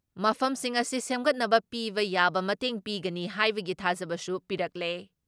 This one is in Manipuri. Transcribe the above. ꯃꯐꯝꯁꯤꯡ ꯑꯁꯤ ꯁꯦꯝꯒꯠꯅꯕ ꯄꯤꯕ ꯌꯥꯕ ꯃꯇꯦꯡ ꯄꯤꯒꯅꯤ ꯍꯥꯏꯕꯒꯤ ꯊꯥꯖꯕꯁꯨ ꯄꯤꯔꯛꯂꯦ ꯫